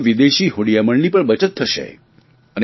આપણા વિદેશી હુંડિયામણની પણ બચત થશે